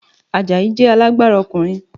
Àjàyí jẹ alágbára ọkùnrin